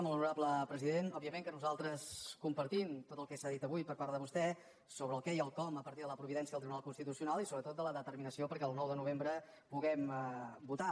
molt honorable president òbviament que nosaltres compartim tot el que s’ha dit avui per part de vostè sobre el què i el com a partir de la providència del tribunal constitucional i sobretot de la determinació perquè el nou de novembre puguem votar